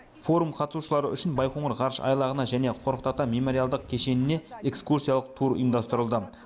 форум қатысушылары үшін байқоңыр ғарыш айлағына және қорқыт ата мемориалдық кешеніне экскурсиялық тур ұйымдастырылды